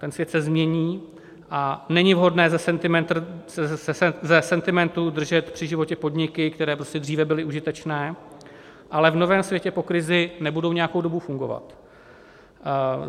Ten svět se změní a není vhodné ze sentimentu držet při životě podniky, které prostě dříve byly užitečné, ale v novém světě po krizi nebudou nějakou dobu fungovat.